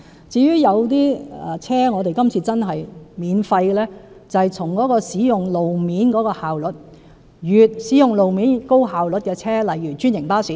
至於今次讓某些車輛獲免費優惠，是從使用路面的效率考慮，即使用路面效率高的車輛，例如是專營巴士。